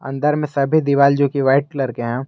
इधर में सभी दीवाल जो की वाइट कलर के हैं।